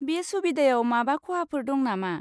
बे सुबिदायाव माबा खहाफोर दं नामा?